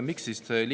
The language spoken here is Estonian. Miks liin suleti?